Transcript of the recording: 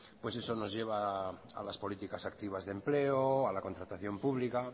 pues eso nos lleva a las políticas activas de empleo a la contratación pública